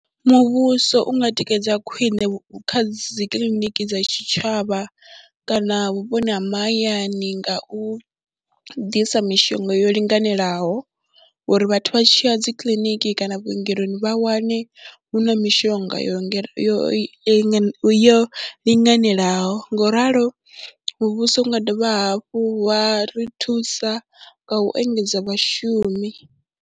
Muvhuso u nga tikedza khwine kha dzi kiḽiniki dza tshitshavha kana vhuponi ha mahayani nga u ḓisa mishonga yo linganelaho uri vhathu vha tshi ya dzi kiḽiniki kana vhuongeloni vha wane hu na mishonga yo yo yo linganelaho ngo u ralo, muvhuso u nga dovha hafhu wa ri thusa nga u engedza vhashumi.